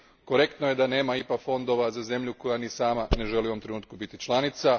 Korektno je da nema IPA fondova za zemlju koja ni sama ne želi u ovom trenutku biti članica.